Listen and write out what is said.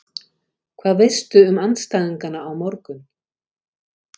Hvað veistu um andstæðingana á morgun?